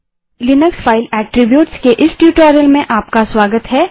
Linux file attribute के इस tutorial में आपका स्वागत है